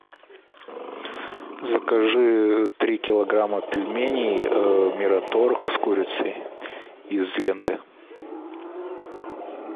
закажи три килограмма пельменей мираторг с курицей из ленты